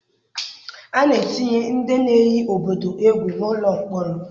A na-etinye ndị na-eyi obodo egwu n'ụlọ mkpọrọ.